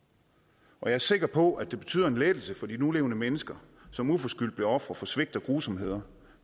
og jeg er sikker på at det betyder en lettelse for de nulevende mennesker som uforskyldt blev ofre for svigt og grusomheder